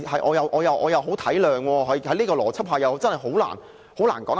我體諒他們，在這種邏輯下，真的很難說得通。